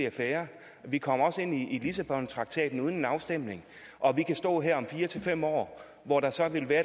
affære vi kom også ind i lissabontraktaten uden en afstemning og vi kan stå her om fire fem år hvor der så kan være